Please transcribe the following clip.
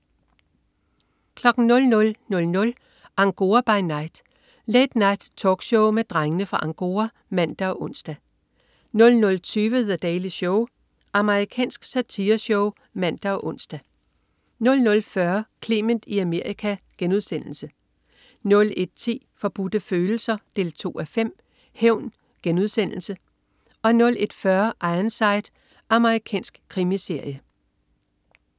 00.00 Angora by Night. Late Night-talkshow med Drengene fra Angora (man og ons) 00.20 The Daily Show. Amerikansk satireshow (man og ons) 00.40 Clement i Amerika* 01.10 Forbudte Følelser 2:5. Hævn* 01.40 Ironside. Amerikansk krimiserie